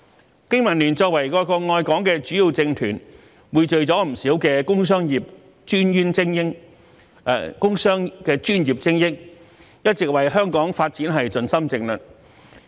香港經濟民生聯盟作為愛國愛港的主要政團，匯聚了不少工商專業精英，一直為香港發展盡心盡力。